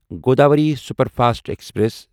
Godavari superfast express